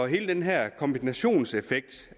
hele den her kombinationseffekt